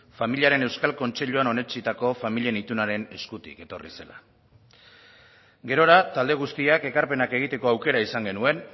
familiaren euskal kontseiluan onetsitako familien itunaren eskutik etorri zela gerora talde guztiak ekarpenak egiteko aukera izan genuen